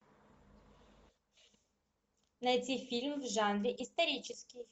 найти фильм в жанре исторический